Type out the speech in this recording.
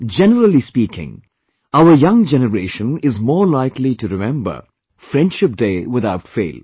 Generally speaking, our young generation is more likely to remember 'Friendship Day', without fail